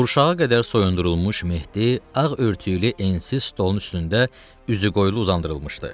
Qurşağa qədər soyundurulmuş Mehdi ağ örtüklü ensiz stolun üstündə üzüqoylu uzandırılmışdı.